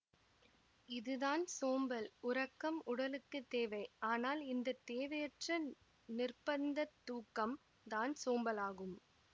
இதுதான் சோம்பல் உறக்கம் உடலுக்கு தேவை அனால் இந்த தேவையற்ற நிர்ப்பந்தத் தூக்கம்தான் சோம்பலாகும்